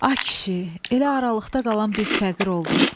Ah kişi, elə aralıqda qalan biz fəqir olduq.